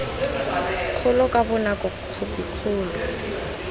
kgolo ka bonako khophi kgolo